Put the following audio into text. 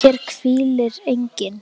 HÉR HVÍLIR ENGINN